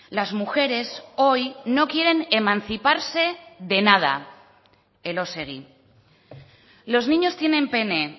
las mujeres hoy no quieren emanciparse de nada elósegui los niños tienen pene